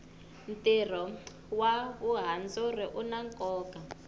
tiro wa vuhandzuri una koka